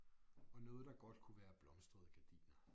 Og noget der godt kunne være blomstrede gardiner